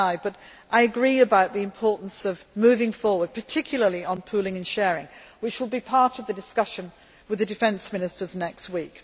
I agree about the importance of moving forward, particularly on pooling and sharing which will be part of the discussion with the Defence Ministers next